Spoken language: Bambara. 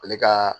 Ale ka